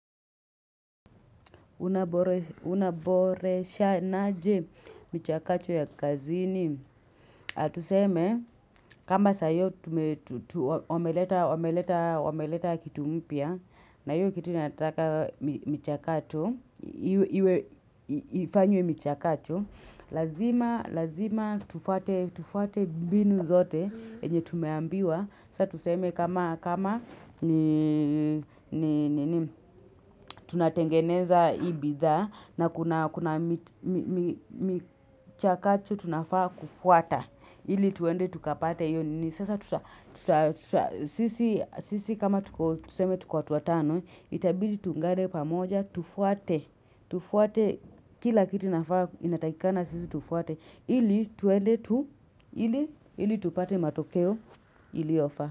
Unaboreshanaje michakacho ya kazini tuseme kama saa hio wameleta kitu mpya na hio kitu inataka michakato iwe ifanywe michakacho lazima lazima tufuate tufuate mbinu zote yenye tumeambiwa saa tuseme kama kama ni nini tunatengeneza hii bidhaa na kuna michakacho tunafaa kufuata ili tuende tukapate hio nini sasa tuta sisi kama tuko tuseme tuko watu watano itabidi tuungane pamoja tufuate tufuate kila kitu inafaa inatakikana sisi tufuate ili tuende tu ili tupate matokeo iliofaa.